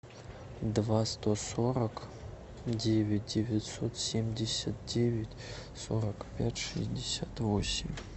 два сто сорок девять девятьсот семьдесят девять сорок пять шестьдесят восемь